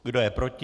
Kdo je proti?